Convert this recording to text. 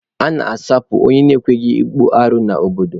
A na-asụpụ onye ekweghị akpụ arụ n'obodo.